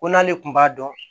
Ko n'ale kun b'a dɔn